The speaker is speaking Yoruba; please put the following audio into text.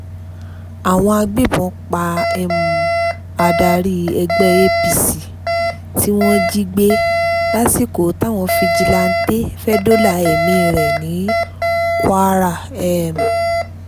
àwọn agbébọn pa um adarí ẹgbẹ́ apc tí wọ́n jí gbé lásìkò táwọn fijilanté fẹ́ẹ́ dóòlà ẹ̀mí rẹ̀ ní kwara um